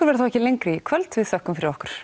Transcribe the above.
verður þá ekki lengri í kvöld við þökkum fyrir okkur